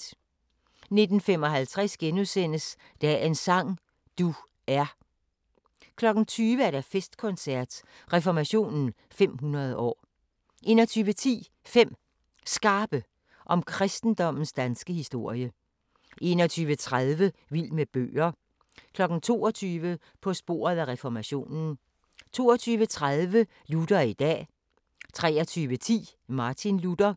19:55: Dagens sang: Du er * 20:00: Festkoncert – Reformationen 500 år 21:10: 5 Skarpe om kristendommens danske historie 21:30: Vild med bøger 22:00: På sporet af reformationen 22:30: Luther i dag 23:10: Martin Luther